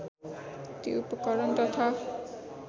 ती उपकरण तथा